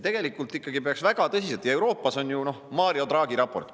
Euroopas on ju tehtud Mario Draghi raport.